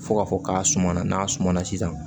Fo ka fɔ k'a suma na n'a suma na sisan